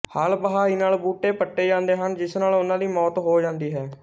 ਹਲ਼ ਵਹਾਈ ਨਾਲ ਬੂਟੇ ਪੱਟੇ ਜਾਂਦੇ ਹਨ ਜਿਸ ਨਾਲ ਉਨ੍ਹਾਂ ਦੀ ਮੌਤ ਹੋ ਜਾਂਦੀ ਹੈ